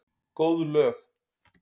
Góð lög.